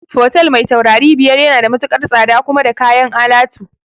Fotel mai taurari biyar yana da matukar tsada kuma da kayan alatu